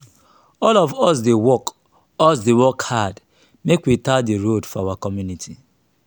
all of us dey work us dey work hard make we tar di road for our community.